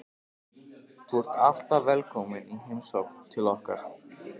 Þú ert alltaf velkomin í heimsókn til okkar.